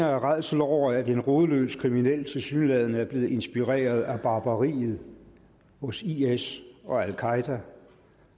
af rædsel over at en rodløs kriminel tilsyneladende er blevet inspireret af barbariet hos is og al qaeda